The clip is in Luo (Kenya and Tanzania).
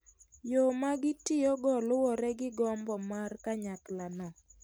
Yo ma gitiyogo luwore gi gombo mar kanyakla no .